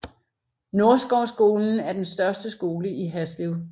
Nordskovskolen er den største skole i Haslev